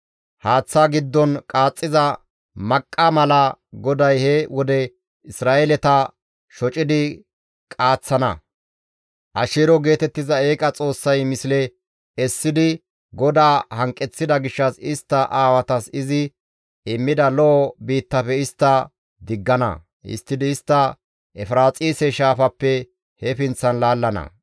Haaththa giddon qaaxxiza maqqa mala GODAY he wode Isra7eeleta shocidi qaaththana. Asheero geetettiza eeqa xoossay misle essidi GODAA hanqeththida gishshas istta aawatas izi immida lo7o biittafe istta diggana; histtidi istta Efiraaxise Shaafappe he pinththan laallana.